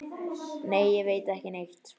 Nei, ég veit ekki neitt.